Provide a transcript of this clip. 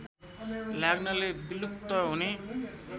लाग्नाले विलुप्त हुने